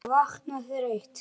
Ég vakna þreytt.